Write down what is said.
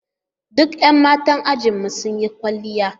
Duk 'yan matan ajinmu sun yi kwalliya